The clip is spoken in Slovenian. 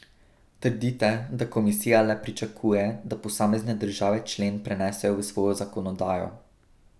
Trdite, da komisija le pričakuje, da posamezne države člen prenesejo v svojo zakonodajo.